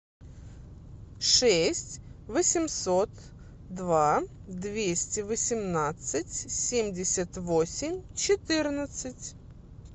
шесть восемьсот два двести восемнадцать семьдесят восемь четырнадцать